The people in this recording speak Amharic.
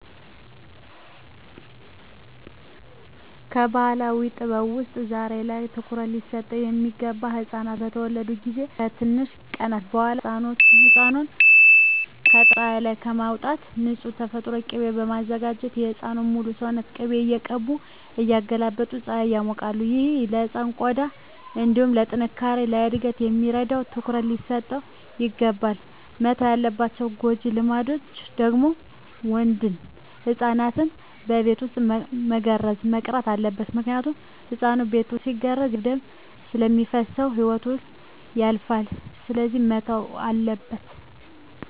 ከባህላዊ ጥበብ ውስጥ ዛሬ ላይ ትኩሩት ሊሰጠው ሚገባ ህፃናት በተወለዱ ጊዜ ከትንሽ ቀናት በኋላ ህፃኑን የጠዋት ፀሀይ ላይ በማውጣት ንፁህ የተፈጥሮ ቂቤ በማዘጋጀት የህፃኑን ሙሉ ሰውነት ቅቤ እየቀቡ እያገላበጡ ፀሀይ ያሞቃሉ። ይህ ለህፃኑ ቆዳ እንዲሁም ለጥነካሬ፣ ለእድገት ስለሚረዳው ትኩረት ሊሰጠው ይገባል። መተው ያለባቸው ጎጂ ልማዶች ደግሞ ወንድ ህፃናትን በቤት ውስጥ መገረዝ መቅረት አለበት ምክንያቱም ህፃኑ ቤት ውስጥ ሲገረዝ ያለአግባብ ደም ስለሚፈስሰው ህይወቱ ያልፋል ስለዚህ መተው አለበት።